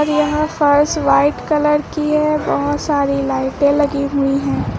यहां फर्श white colour की है बहोत सारी लाइटें लगी हुई है।